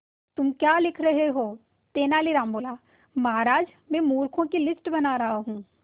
तुम क्या लिख रहे हो तेनालीराम बोला महाराज में मूर्खों की लिस्ट बना रहा हूं